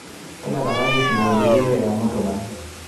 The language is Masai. tadalakaki isingolioitin le yamoto band